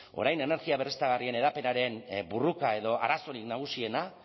orain energia berriztagarrien hedapenaren borroka edo arazorik nagusiena